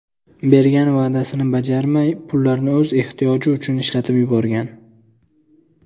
bergan va’dasini bajarmay, pullarni o‘z ehtiyoji uchun ishlatib yuborgan .